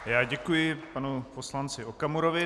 Já děkuji panu poslanci Okamurovi.